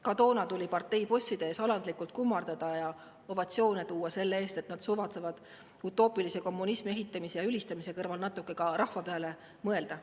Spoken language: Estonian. Ka toona tuli parteibosside ees alandlikult kummardada ja ovatsioone tekitada selle eest, et nad suvatsesid utoopilise kommunismi ehitamise ja ülistamise kõrval natuke ka rahva peale mõelda.